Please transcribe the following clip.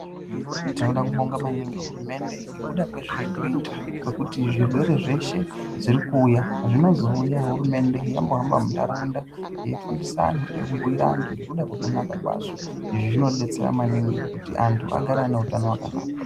Tinoda kubonga maningi hurumende ngekuda kwezveiri kuita kwekuti zvirwere zveshe zvirikuuya zvinozouya hurumende yambohamba muntaraunda yeifundisa anhu nekubhuira antu ngekuda kwekunaka kwazvo. Izvi zvinodetsera maningi kuti antu agare ane utano wakanaka.